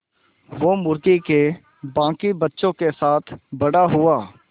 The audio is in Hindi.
वो मुर्गी के बांकी बच्चों के साथ बड़ा हुआ